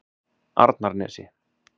Arnarnesi